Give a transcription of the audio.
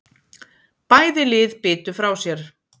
Bæði lið bitu frá sér